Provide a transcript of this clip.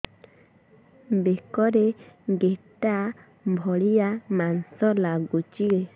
ବେକରେ ଗେଟା ଭଳିଆ ମାଂସ ଲାଗୁଚି